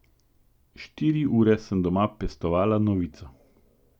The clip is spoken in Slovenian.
Štiri ure sem doma pestovala novico.